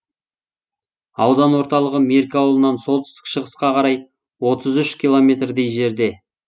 аудан орталығы меркі ауылынан солтүстік шығысқа қарай отыз үш километрдей жерде